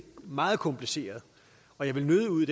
meget kompliceret og jeg vil nødig ud i